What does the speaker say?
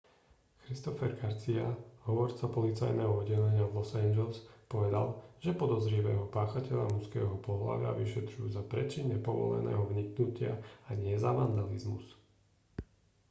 christopher garcia hovorca policajného oddelenia v los angeles povedal že podozrivého páchateľa mužského pohlavia vyšetrujú za prečin nepovoleného vniknutia a nie za vandalizmus